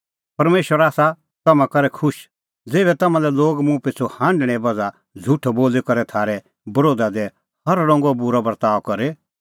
परमेशर आसा तम्हां करै खुश ज़ेभै तम्हां लै लोग मुंह पिछ़ू हांढणें बज़्हा झ़ुठअ बोली करै थारै बरोधा दी हर रंगो बूरअ बर्ताअ करे